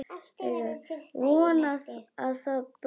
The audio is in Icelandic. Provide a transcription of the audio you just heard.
Von að það blæði!